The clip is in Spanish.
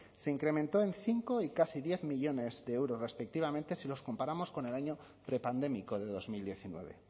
se incrementó en cinco y casi diez millónes de euros respectivamente si los comparamos con el año prepandémico de dos mil diecinueve